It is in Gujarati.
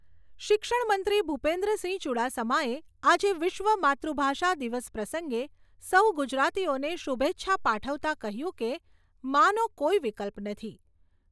શિક્ષણમંત્રી ભૂપેન્દ્રસિંહ ચુડાસમાએ આજે વિશ્વ માતૃભાષા દિવસ પ્રસંગે સૌ ગુજરાતીઓને શુભેચ્છા પાઠવતાં કહ્યું કે માં નો કોઈ વિકલ્પ નથી.